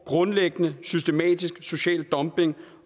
grundlæggende systematisk social dumping